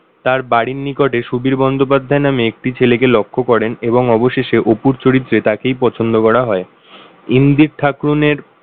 তার বাড়ির নিকটে সুধীর বন্দ্যোপাধ্যায় নামে একটি ছেলেকে লক্ষ করেন এবং অবশেষে অপুর চরিত্রে তাকেই পছন্দ করা হয়। ইন্দির ঠাকরুনের,